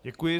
Děkuji.